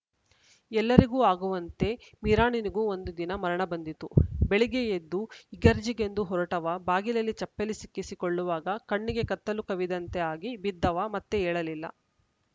ಎಲ್ಲರಿಗೂ ಆಗುವಂತೆ ಮಿರಾಣನಿಗೂ ಒಂದು ದಿನ ಮರಣ ಬಂದಿತು ಬೆಳಿಗ್ಗೆ ಎದ್ದು ಇಗರ್ಜಿಗೆಂದು ಹೊರಟವ ಬಾಗಿಲಲ್ಲಿ ಚಪ್ಪಲಿ ಸಿಕ್ಕಿಸಿ ಕೊಳ್ಳುವಾಗ ಕಣ್ಣೆಗೆ ಕತ್ತಲು ಕವಿದಂತೆ ಆಗಿ ಬಿದ್ದವ ಮತ್ತೆ ಏಳಲಿಲ್ಲ